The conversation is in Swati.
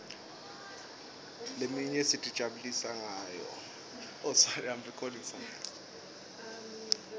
leminye sitijabulisa ngayo